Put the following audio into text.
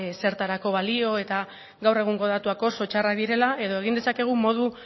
ezertarako balio eta gaur egungo datuak oso txarrak direla edo egin dezakegu modu